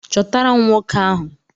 Chọtara m nwoke ahụ!